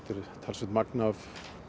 er talsvert magn af